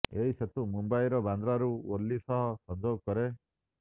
ଏହି ସେତୁ ମୁମ୍ବାଇର ବାନ୍ଦ୍ରାରୁ ୱର୍ଲି ସହ ସଂଯୋଗ କରେ